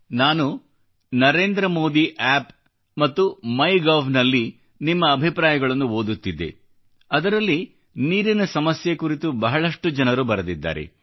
ನಾನು ನರೇಂದ್ರಮೋದಿ App ಮತ್ತು Mygovನಲ್ಲಿ ನಿಮ್ಮ ಅಭಿಪ್ರಾಯಗಳನ್ನು ಓದುತ್ತಿದ್ದೆ ಹಾಗೂ ನೀರಿನ ಸಮಸ್ಯೆ ಕುರಿತು ಬಹಳಷ್ಟು ಜನರು ಬರೆದಿದ್ದಾರೆ